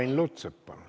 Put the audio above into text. Ain Lutsepp, palun!